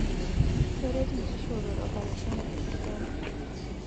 Keret nkishoorot opareshoni e sipitali